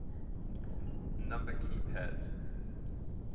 number key pads